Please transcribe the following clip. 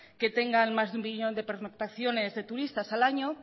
que tengan más de un millón de pernoctaciones de turistas al año